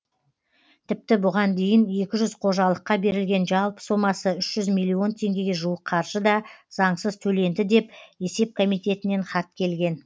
тіпті бұған дейін екі жүз қожалыққа берілген жалпы сомасы үш жүз миллион теңгеге жуық қаржы да заңсыз төленді деп есеп комитетінен хат келген